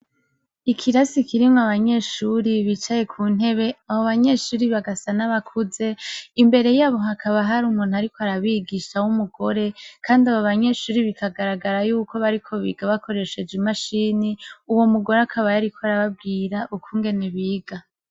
Ikirasi kirimwo abanyeshuri bicaye ku ntebe abo banyeshuri bagasa n' abakuze imbere yabo hakaba hari umuntu ariko arabigisha w' umugore kandi abo banyeshuri bikagaragara yuko bariko biga bakoresheje imashini uwo mugore akaba yariko arababwira ukungene biga.